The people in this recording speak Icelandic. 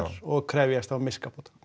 og krefjast þá miskabóta